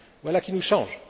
Voilà qui nous change.